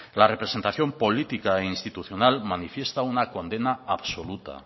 la representación política e institucional manifiesta una condena absoluta